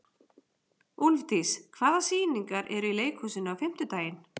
Úlfdís, hvaða sýningar eru í leikhúsinu á fimmtudaginn?